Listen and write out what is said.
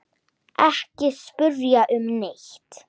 Ekki spyrja um neitt.